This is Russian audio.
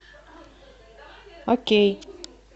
окей